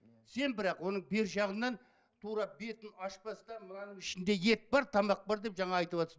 сен бірақ оны бер жағынан тура бетін ашпастан мынаның ішінде ет бар тамақ бар деп жаңа айтыватсың